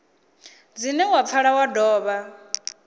dzine dza pfala wa dovha